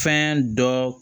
Fɛn dɔ